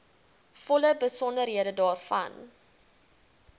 volle besonderhede daarvan